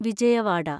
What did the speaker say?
Vijayawada